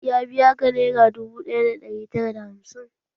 Ya biya ka nera dubu ɗaya da ɗari tara da hamsin?